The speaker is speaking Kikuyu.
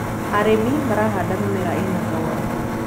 arĩmi marahanda mĩmera ina thogora